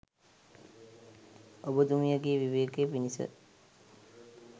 ඔබතුමියගේ විවේකය පිණිස